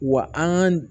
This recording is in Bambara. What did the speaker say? Wa an ka